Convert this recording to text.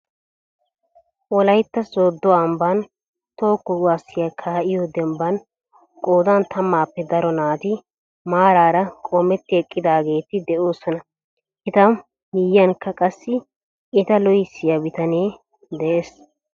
Wollaytta sooddo ambbaan toho kuwaasiyaa kaa'iyoo dembbaan qoodan tammappe daro naati maaraara qoometti eqqidaageti de"osona. eta miyiyaanikka qassi eta loohissiyaa bitanee dees.